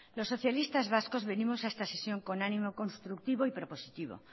los socialistas vascos venimos a esta sesión con ánimo constructivo y prepositivo